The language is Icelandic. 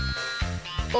og